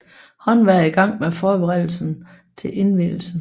Håndværkere i gang med forberedelserne til indvielsen